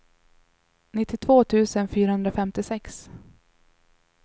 nittiotvå tusen fyrahundrafemtiosex